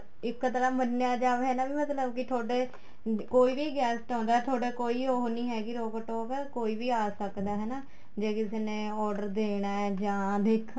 ਇੱਕ ਤਰ੍ਹਾਂ ਮੰਨਿਆ ਜਾਵੇ ਹਨਾ ਵੀ ਮਤਲਬ ਕੀ ਤੁਹਾਡੇ ਕੋਈ ਵੀ guest ਆਉਂਦਾ ਤੁਹਾਡਾ ਕੋਈ ਉਹ ਨਹੀਂ ਹੈਗੀ ਰੋਕ ਟੋਕ ਕੋਈ ਆ ਸਕਦਾ ਹਨਾ ਜ਼ੇ ਕਿਸੇ ਨੇ order ਦੇਣਾ ਹੈ ਜਾਂ ਦੇਖ